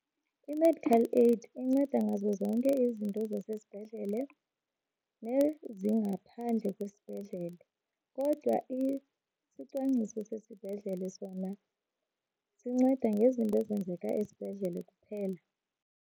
I-medical aid inceda ngazo zonke izinto zasesibhedlele nezingaphandle kwisibhedlele. Kodwa isicwangciso sesibhedlele sona zinceda ngezinto ezenzeka esibhedlele kuphela.